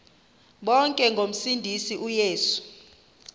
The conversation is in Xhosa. bonke ngomsindisi uyesu